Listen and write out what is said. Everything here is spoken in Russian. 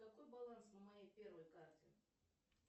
какой баланс на моей первой карте